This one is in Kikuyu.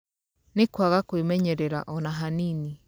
Nĩ kwaga kũĩmenyerera ona hanini.